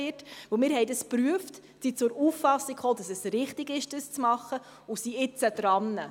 Wir haben das geprüft und sind zur Auffassung gekommen, dass es richtig ist, das zu machen und sind nun daran.